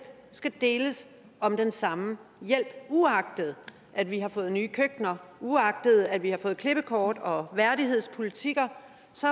skal deles om den samme hjælp uagtet at vi har fået nye køkkener uagtet at vi har fået klippekort og værdighedspolitikker